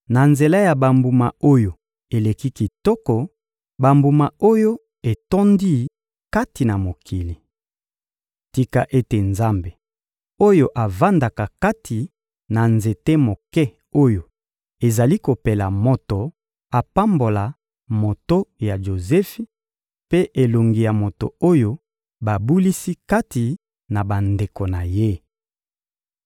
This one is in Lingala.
na nzela ya bambuma oyo eleki kitoko, bambuma oyo etondi kati na mokili! Tika ete Nzambe oyo avandaka kati na nzete moke oyo ezali kopela moto apambola moto ya Jozefi mpe elongi ya moto oyo babulisi kati na bandeko na ye!